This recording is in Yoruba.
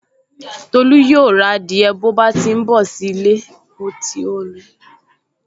Tolú yóò ra adìẹ bọ̀ tí ó bá ti n bọ̀ sí ilé